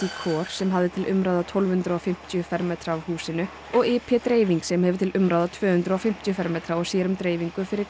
sem hafði til umráða tólf hundruð og fimmtíu fermetra af húsinu og i p dreifing sem hefur til umráða tvö hundruð og fimmtíu fermetra og sér um dreifingu fyrir